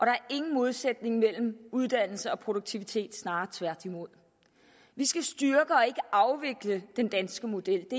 er ingen modsætning mellem uddannelse og produktivitet snarere tværtimod vi skal styrke og ikke afvikle den danske model